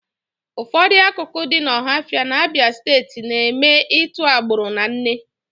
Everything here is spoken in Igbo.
Ụfọdụ akụkụ dị n'Ọhafịa n'Abịa Steeti na-eme ịtụ agbụrụ na nne